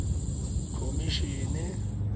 khomisene